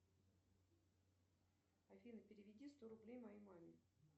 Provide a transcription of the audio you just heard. афина переведи сто рублей моей маме